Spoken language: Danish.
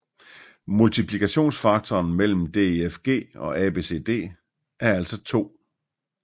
Multiplikationsfaktoren mellem DEFG og ABCD er altså 2